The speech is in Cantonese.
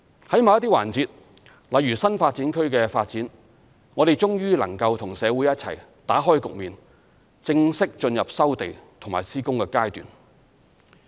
在某些環節例如新發展區的發展，我們終於能夠與社會一起打開局面，正式進入收地及施工階段。